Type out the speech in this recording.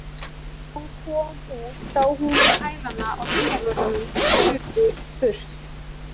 Þegar hún kom út sá hún í hælana á dyravörðunum sem hlupu burt.